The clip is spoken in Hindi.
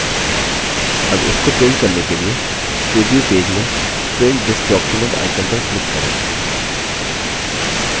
अब इसको print करने के लिए प्रिव्यू पेज में print this document icon पर click करें